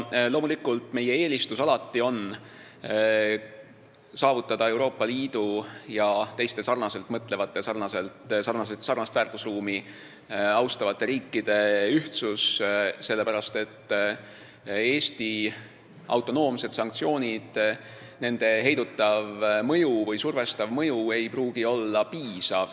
Loomulikult, meie eelistus on alati saavutada Euroopa Liidu ja teiste sarnaselt mõtlevate ja sarnast väärtusruumi austavate riikide ühtsus, sest Eesti autonoomsete sanktsioonide heidutav või survestav mõju ei pruugi olla piisav.